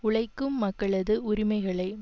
உழைக்கும் மக்களது உரிமைகளை